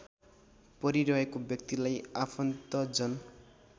परिरहेको व्यक्तिलाई आफन्तजन